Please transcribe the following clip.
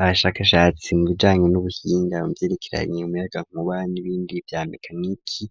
Abashakashatsi mu bijanye n'ubuhinga mu vyerekeranye n'umuyagankuba n'ibindi vya mekaniki,